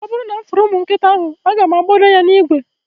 Oburu na mfuru umu nkita ahu, aga mu agbodo ya na igwe